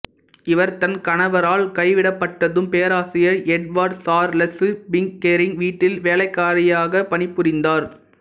இவர் தன் கணவரால் கைவிடப்பட்டதும் பேராசிரியர் எட்வார்டு சார்லசு பிக்கெரிங் வீட்டில் வேலைக்காரியாகப் பணிபுரிந்தார்